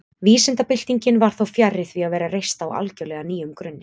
Vísindabyltingin var þó fjarri því að vera reist á algjörlega nýjum grunni.